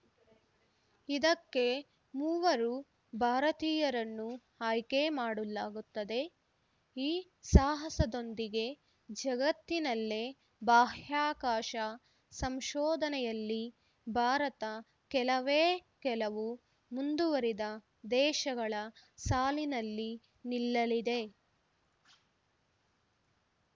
ಇದಕ್ಕೆ ಮೂವರು ಭಾರತೀಯರನ್ನು ಆಯ್ಕೆ ಮಾಡಲಾಗುತ್ತದೆ ಈ ಸಾಹಸದೊಂದಿಗೆ ಜಗತ್ತಿನಲ್ಲೇ ಬಾಹ್ಯಾಕಾಶ ಸಂಶೋಧನೆಯಲ್ಲಿ ಭಾರತ ಕೆಲವೇ ಕೆಲವು ಮುಂದುವರಿದ ದೇಶಗಳ ಸಾಲಿನಲ್ಲಿ ನಿಲ್ಲಲಿದೆ